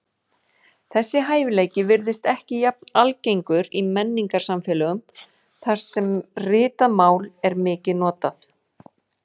Þessi hæfileiki virðist ekki jafn algengur í menningarsamfélögum þar sem ritað mál er mikið notað.